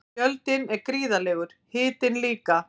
Fjöldinn er gríðarlegur, hitinn líka.